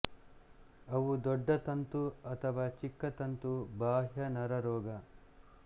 ಅವು ದೊಡ್ಡ ತಂತು ಅಥವಾ ಚಿಕ್ಕ ತಂತು ಬಾಹ್ಯ ನರರೋಗ